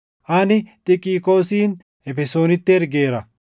Ani Xikiqoosin Efesoonitti ergeera.